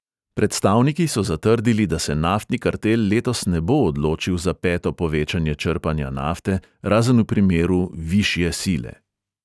Predstavniki so zatrdili, da se naftni kartel letos ne bo odločil za peto povečanje črpanja nafte, razen v primeru "višje sile".